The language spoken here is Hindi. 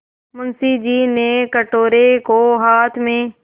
मुंशी जी ने कटोरे को हाथ में